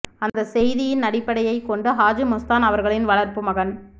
அந்த செய்தியின் அடிப்படையை கொண்டு ஹாஜி மஸ்தான் அவர்களின் வளர்ப்பு மகன்